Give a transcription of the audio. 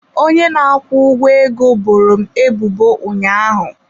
Onye na-akwụ ụgwọ ego boro m ebubo ụnyaahụ.